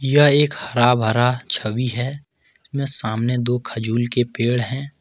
यह एक हरा भरा छवि है में सामने दो खजूल के पेड़ हैं।